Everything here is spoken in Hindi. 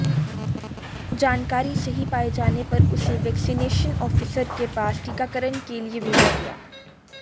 जानकारी सही पाए जाने पर उसे वैक्सीनेशन आफिसर के पास टीकाकरण के लिए भेजा गया